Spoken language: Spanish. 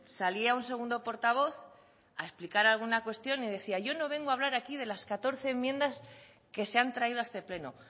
salía un segundo portavoz a explicar alguna cuestión y decía yo no vengo a hablar aquí de las catorce enmiendas que se han traído a este pleno